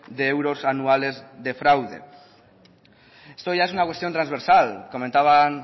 de euros anuales de fraude esto ya es una cuestión trasversal comentaban